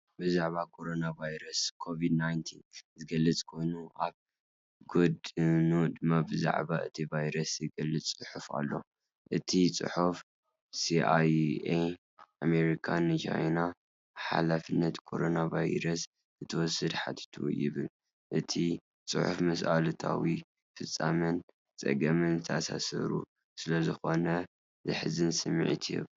ብዛዕባ ኮሮናቫይረስ (COVID-19) ዝገልጽ ኮይኑ፡ ኣብ ጎድኑ ድማ ብዛዕባ እቲ ቫይረስ ዝገልጽ ጽሑፍ ኣሎ። እቲ ጽሑፍ" ሲኣይኤ ኣሜሪካ ንቻይና ሓላፍነት ኮሮና ቫይረስ ክትወስድ ሓቲቱ"ይብል። እቲ ጽሑፍን ምስ ኣሉታዊ ፍጻሜን ጸገምን ዝተኣሳሰሩ ስለዝኾኑ ዘሕዝን ስምዒት ይህቡ።